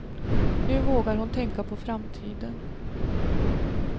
Nu vågar hon tänka på framtiden.